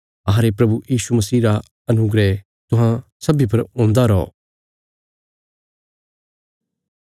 अहांरे प्रभु यीशु मसीह रा अनुग्रह तुहां सब्बीं पर हुन्दा रौ